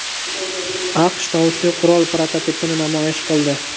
AQSh tovushli qurol prototipini namoyish qildi .